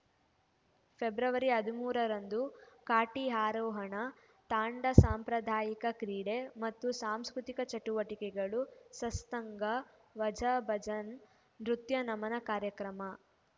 February ಹದಿಮೂರರಂದು ಕಾಟಿ ಆರೋಹಣ ತಾಂಡಾ ಸಾಂಪ್ರದಾಯಿಕ ಕ್ರೀಡೆ ಮತ್ತು ಸಾಂಸ್ಕೃತಿಕ ಚಟುವಟಿಕೆಗಳು ಸತ್ಸಂಗ ವಾಜಾ ಭಜನ್‌ ನೃತ್ಯ ನಮನ ಕಾರ್ಯಕ್ರಮ